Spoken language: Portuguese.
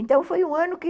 Então, foi um ano que...